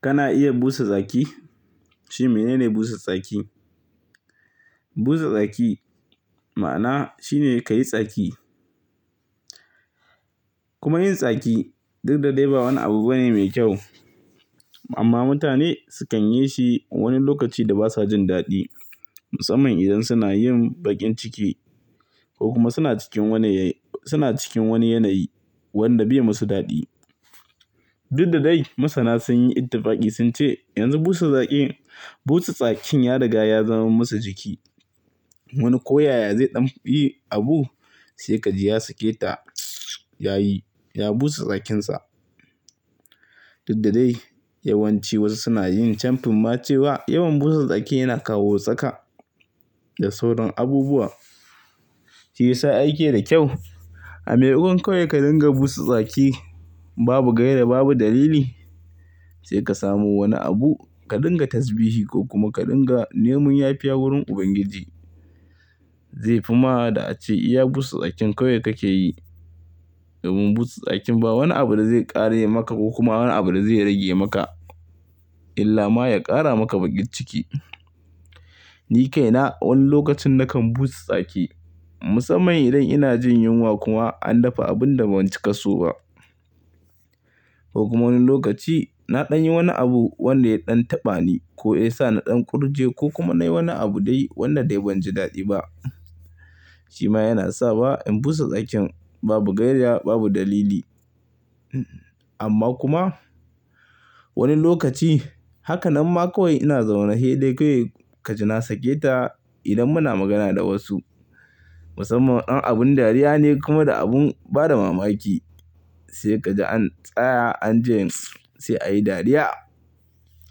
Kana iya busa tsaki? Shi mene ne busa tsaki? Busa tsaki ma'ana shine ka yi tsaki. Kuma yin tsaki duk da dai ba wani abu bane mai kyau. Amma mutane sukan yi shi a wani lokaci da basa jin daɗi. Musamman idan suna yin baƙin ciki ko kuma suna cikin wani yanayi wanda bai musu daɗi. Duk da dai masana sun yi ittifaki sun ce yanzu busa tsaki, busa tsakin ya riga ya zama masa jiki. Wani ko yaya zai ɗan yi abu sai kaji ya sake ta yayi, ya busa tsakinsa. Duk da dai yawanci wasu suna yin chamfin ma cewa yawan busa tsaki yana kawo tsaka da sauran abubuwa. Shi yasa aiki da kyau. A maimakon kawai ka dinga busa tsaki babu gaira babu dalili, sai ka samu wani abu ka dinga tasbihi ko kuma ka dinga neman yafiya wurin Ubangiji. Zai fi ma'ada ace iya busa tsakin kawai kake yi. Domin busa tsakin ba wani abu da zai ƙare maka ko kuma wani abu da zai rage maka. Illa ma ya ƙara maka baƙin ciki. Ni kaina wani lokacin na kan busa tsaki. Musamman idan ina jin yunwa kuma an dafa abun da ban cika so ba. Ko kuma wani lokaci na ɗan yi wani abu wanda ya ɗan taɓa ni ko ya sa na ɗan kurje ko kuma na yi wani abu dai wanda dai ban ji daɗi ba. Shi ma yana sa ba in busa tsakin babu gaira babu dalili. Amma kuma wani lokaci haka nan ma kawai ina zaune dai kawai ka ji na sake ta idan muna magana da wasu. Musamman don abin dariya ne kuma da abin bada mamaki. Sai kaji an tsaya an ji sai ayi dariya.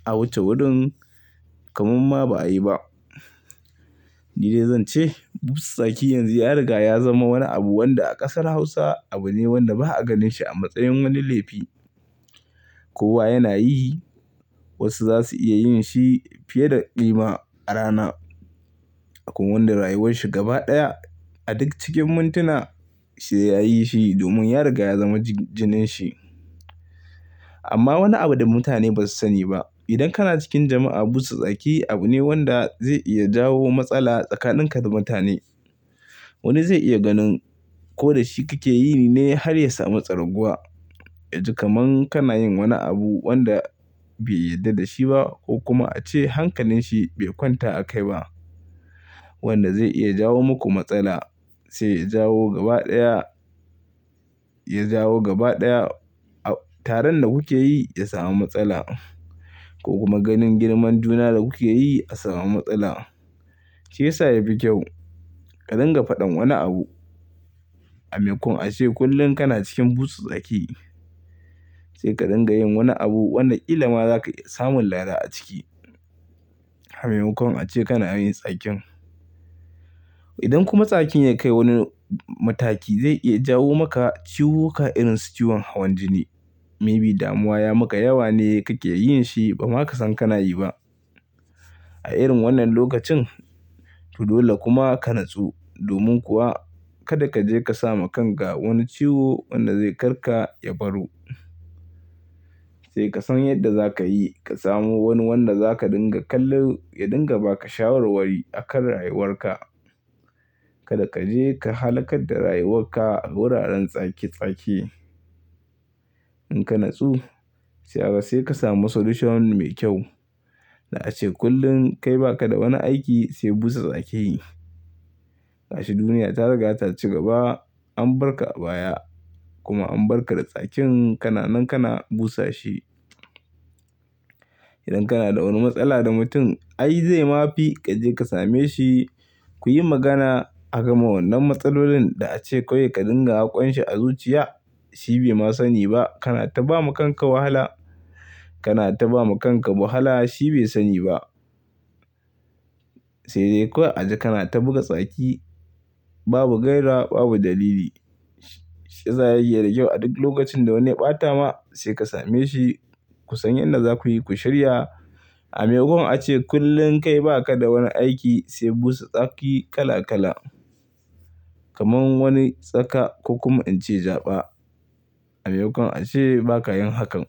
A wuce wurin kamar ma ba'a yi ba. Ni dai zan ce busa tsaki yanzu ya riga ya zama wani abu wanda a ƙasar Hausa abu ne wanda ba'a ganin shi a matsayin wani laifi. Kowa yana yi. Wasu za su iya yin shi fiye da ƙima a rana. Kuma wanda rayuwar shi gaba ɗaya a duk cikin muntuna shi yayi shi domin ya riga ya zama jinin shi. Amma wani abu da mutane ba su sani ba. Idan kana cikin jama'a busa tsaki abu ne wanda zai iya jawo matsala tsakanin ka da mutane. Wani zai iya ganin ko da shi kake yi ne har ya sami tsarguwa. A ji kaman kana yin wani abu wanda bai yarda da shi ba ko kuma ace hankalin shi bai kwanta a kai ba. Wanda zai iya jawo muku matsala. Sai ya jawo gaba ɗaya, ya jawo gaba ɗaya taron da kuke yi ya samu matsala. Ko kuma ganin girman juna da kuke yi a samu matsala. Shi yasa ya fi kyau ka dinga faɗan wani abu. A maimakon ace kullum kana cikin busa tsaki. Sai ka dinga yin wani abu wanda killa ma zaka samu lada a ciki. A maimakon ace kana yin tsakin. Idan kuma tsakin ya kai wani mataki zai iya jawo maka ciwuka irin su ciwon hawan jini. Maybe damuwa ya maka yawa ne kake yin shi ba ma ka san kana yi ba. A irin wannan lokacin to dole kuma ka nutsu. Domin kuwa kada ka je ka samu kanka wani ciwo wanda zai kar ka ya baro. Sai ka san yadda za ka yi ka samu wani wanda za ka dinga kallo ya dinga ba ka shawarwari akan rayuwar ka. Kada ka je ka halaka da rayuwar ka a wuraren tsaki tsaki. In ka natsu sai haka sai ka samu solution mai kyau. Da ace kullum kai ba ka da wani aiki sai busa tsaki. Gashi duniya ta riga ta ci gaba an barka a baya kuma an barka da tsakin kana nan kana busa shi. Idan kana da wani matsala da mutum ai zai ma fi ka je ka same shi kuyi magana. Haka ma wannan matsalolin da ace kawai ka dinga hakon shi a zuciya. Shi bai ma sani ba kana ta ba ma kanka wahala. Kana ta ba ma kanka wahala shi bai sani ba. Sai dai kawai a ji kana ta buga tsaki babu gaira babu dalili. Shiyasa yana da kyau a duk lokacin da wani ya ɓata ma sai ka same shi ku san yadda za kuyi ku shirya. A maimakon ace kullum kai ba ka da wani aiki sai busa tsaki kala kala. Kaman wani tsaka ko kuma in ce jaɓa. A maimakon ace ba ka yin hakan.